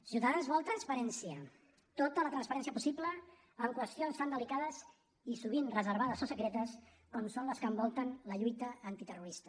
ciutadans vol transparència tota la transparència possible en qüestions tan delicades i sovint reservades o secretes com són les que envolten la lluita antiterrorista